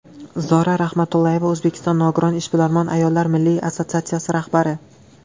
Zora Rahmatullayeva, O‘zbekiston nogiron ishbilarmon ayollar milliy assotsiatsiyasi rahbari.